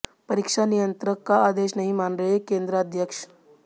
परीक्षा नियंत्रक का आदेश नहीं मान रहे केन्द्राध्यक्ष